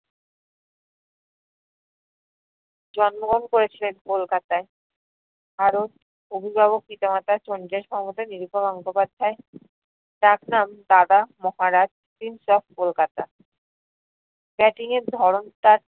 জন্মগ্রহণ করেছিলেন কলকাতায় । আরও অবিভাবক পিতা মাতা চণ্ডীদাস , নিরুপা গঙ্গোপাধ্যায়। ডাকনাম Dada, Maharaj, prince of Kolkata. batting এর ধরন তার